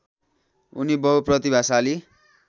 उनी बहुप्रतिभाशाली